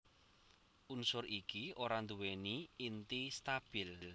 Unsur iki ora nduwèni inti stabil